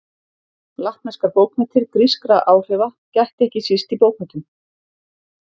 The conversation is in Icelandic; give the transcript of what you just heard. Latneskar bókmenntir Grískra áhrifa gætti ekki síst í bókmenntum.